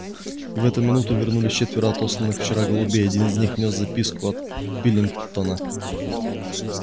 и в эту минуту вернулись четверо отосланных вчера голубей один из них нёс записку от пилкингтона